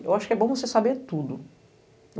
Eu acho que é bom você saber tudo.